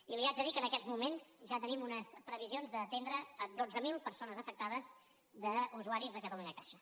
i li haig de dir que en aquests moments ja tenim unes previsions d’atendre dotze mil persones afectades d’usuaris de catalunyacaixa